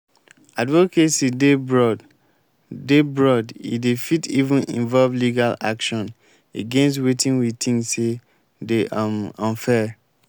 advocacy dey broad dey broad e dey fit even involve legal action against wetin we think sey dey um unfair